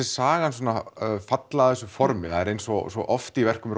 sagan svona falla að þessu formi það er eins og svo oft í verkum